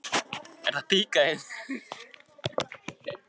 Strýkur fingri varlega yfir auma gagnaugað.